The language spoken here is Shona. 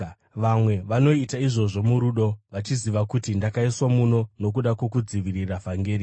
Vamwe vanoita izvozvo murudo, vachiziva kuti ndakaiswa muno nokuda kwokudzivirira vhangeri.